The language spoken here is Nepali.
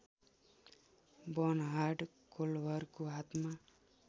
बर्नहार्ड कोल्भरको हातमा